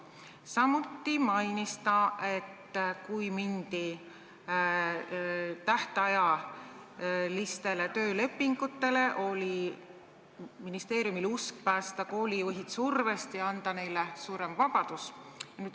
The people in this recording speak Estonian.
Samuti mainis ta, et kui mindi üle tähtajatutele töölepingutele, oli ministeeriumil usk, et see päästab koolijuhid survest ja annab neile suurema vabaduse.